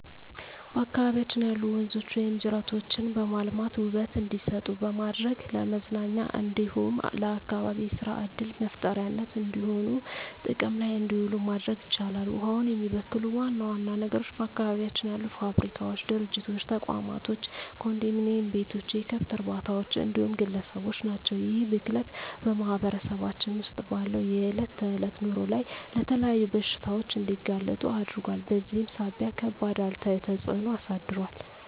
በአካባቢያችን ያሉ ወንዞች ወይም ጅረቶችን በማልማት ውበት እንዲሰጡ በማድረግ ለመዝናኛ እንዲሁም ለአካባቢ የሰራ ዕድል መፍጠሪያነት እንዲሆኑ ጥቅም ላይ እንዲውሉ ማድረግ ይቻላል። ውሃውን የሚበክሉ ዋና ዋና ነገሮች በአካባቢያችን ያሉ ፋብሪካዎች፣ ድርጅቶች፣ ተቋማቶች፣ ኮንዶሚኒዬም ቤቶች፣ የከብት እርባታዎች እንዲሁም ግለሰቦች ናቸው። ይህ ብክለት በማህበረሰባችን ውስጥ ባለው የዕለት ተዕለት ኑሮ ላይ ለተለያዩ በሽታዎች እንዲጋለጡ አድርጓል በዚህም ሳቢያ ከባድ አሉታዊ ተፅዕኖ አሳድሯል።